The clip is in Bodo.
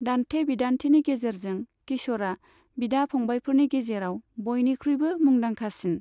दान्थे बिदान्थेनि गेजेरजों, किश'रआ बिदा फंबायफोरनि गेजेराव बयनिख्रुइबो मुंदांखासिन।